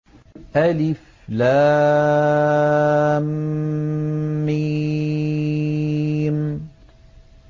الم